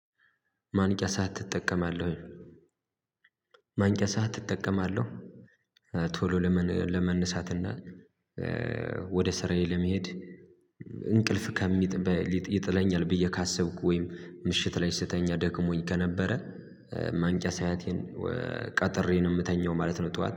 ማንቂያ ሰዓት ትጠቀማለህ ወይ? ማንቂያ ሰዓት እጠቀማለሁ ቶሎ ለመነሳትና ወደ ስራዬ ለመሄድ እንቅልፍ ከሚጥበይ ይጥለኛል ብዬ ካሰብኩ ወይም ምሽት ላይ ስተኛ ደክሞኝ ከነበረ ማንቂያ ሰአቴን ቀጥሬ ነው የምተኛው ማለት ነው ጠዋት